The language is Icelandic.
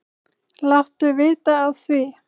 Láttu vita af því.